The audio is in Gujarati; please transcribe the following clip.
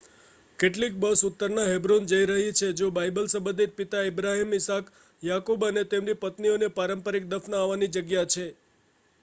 કેટલીક બસ ઉત્તરમાં હેબ્રોન જઈ રહી છે જો બાઇબલ સંબંધિત પિતા ઇબ્રાહિમ ઈસાક યાકૂબ અને તેમની પત્નીઓની પારંપારિક દફનાવાની જગ્યા છે